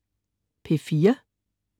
P4: